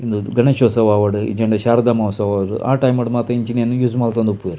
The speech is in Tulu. ಉಂದು ಗಣೇಶೋತ್ಸವ ಆವಡ್ ಇಜ್ಜಂಡ ಶಾರದ ಮಹೋತ್ಸವ ಆ ಟೈಮುಡು ಮಾತ ಇಂಚಿನವೆನ್ ಯೂಸ್ ಮಲ್ತೊಂದು ಇಪ್ಪುವೆರ್.